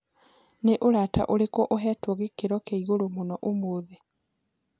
ni urata ũrĩkũ uhetwo gĩkĩro kĩaĩgũrũ mũno umuthi